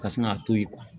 Ka sin k'a to yen